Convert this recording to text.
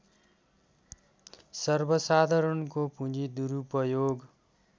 सर्वसाधारणको पुँजी दुरूपयोग